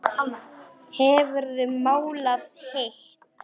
Hefurðu málað hitt?